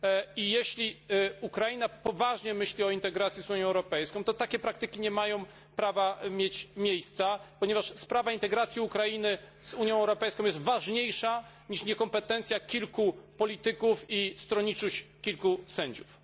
I jeśli, Ukraina poważnie myśli o integracji z Unią Europejską, to takie praktyki nie mają prawa mieć miejsca, ponieważ sprawa integracji Ukrainy z Unią Europejską jest ważniejsza niż niekompetencja kilku polityków i stronniczość kilku sędziów.